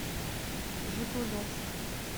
жигулевск